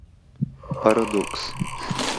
парадокс